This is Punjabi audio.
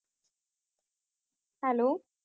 hello